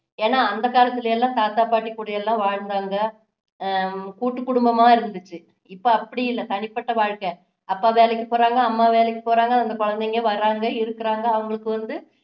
ஏன்னா அந்த காலத்துல எல்லாம் தாத்தா பாட்டி கூட எல்லாம் வாழ்ந்தாங்க அஹ் கூட்டு குடும்பமா இருந்துச்சு இப்போ அப்படி இல்லை தனிப்பட்ட வாழ்க்கை அப்பா வேலைக்கு போறாங்க அம்மா வேலைக்கு போறாங்க அந்த குழந்தைங்க வர்றாங்க இருக்குறாங்க அவங்களுக்கு வந்து